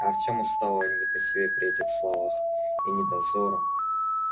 артёму стало не по себе при этих словах и ни дозорам